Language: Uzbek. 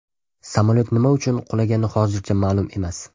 Samolyot nima uchun qulagani hozircha ma’lum emas.